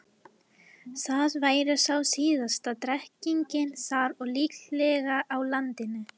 Það væri þá síðasta drekkingin þar og líklega á landinu.